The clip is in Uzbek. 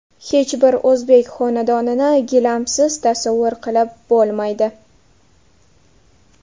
Hech bir o‘zbek xonadonini gilamsiz tasavvur qilib bo‘lmaydi.